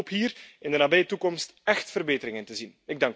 Ik hoop hier in de nabije toekomst echt verbeteringen te zien.